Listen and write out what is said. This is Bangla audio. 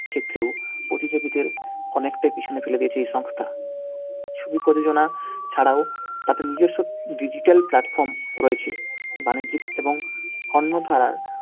ক্ষেত্রেও প্রতিযোগীদের অনেকটা পিছনে ফেলে দিয়েছে এই সংস্থা। শুধু প্রযোজনা ছাড়াও তাদের নিজস্ব digital platform রয়েছে। বাণিজ্যিক এবং অন্যথার